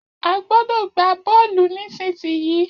A gbọ́dọ̀ gbá Bọ́ọ́lù nísinsìnyí